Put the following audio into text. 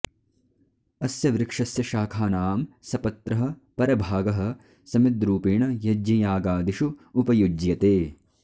अस्य वृक्षस्य शाखानां सपत्रः परभागः समिद्रूपेण यज्ञयागदिषु उपयुज्यते